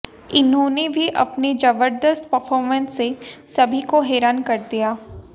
इन्होंने भी अपने जबर्दस्त परफॉर्मेंस से सभी को हैरान कर दिया